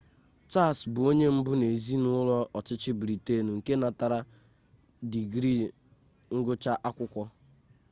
charles bụ onye mbụ n'ezinụlọ ọchịchị britain nke natara digrii ngụcha akwukwo